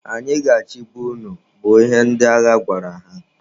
Anyị ga-achịba unu! bụ ihe ndị agha gwara ha.